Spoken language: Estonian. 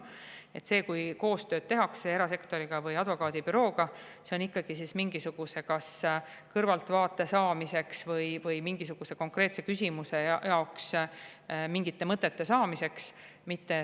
Kui tehakse koostööd erasektoriga või advokaadibürooga, siis see on ikkagi mingisuguse kõrvaltvaate saamiseks või mingisuguse konkreetse jaoks mõtete saamiseks.